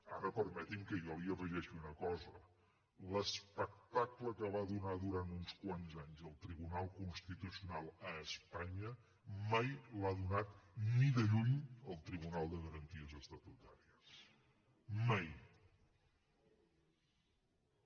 ara permeti’m que jo hi afegeixi una cosa l’espectacle que va donar durant uns quants anys el tribunal constitucional a espanya mai l’ha donat ni de lluny el consell de garanties estatutàries mai